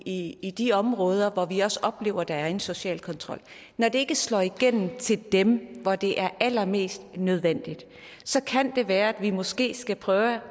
i i de områder hvor vi også oplever at der er en social kontrol når det ikke slår igennem til dem hvor det er allermest nødvendigt kan det være at vi måske skal prøve